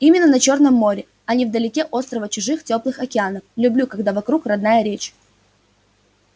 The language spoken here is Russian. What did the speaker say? именно на чёрное море а не на далёкие острова чужих тёплых океанов люблю когда вокруг родная речь